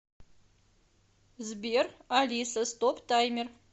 сбер алиса стоп таймер